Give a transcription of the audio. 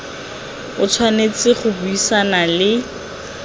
o tshwanetse go buisana le